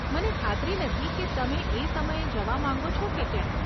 મને ખાતરી નથી કે તમે એ સમયે જવા માંગો છો કે કેમ.